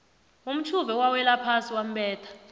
umtjhuve wawelaphasi wambetha